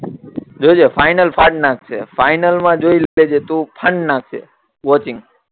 જો જે ફાઈનલ ફાડી નાખશે ફાઈનલ મા જોઈ લે જે તું ફાડી નાખશે વસીમ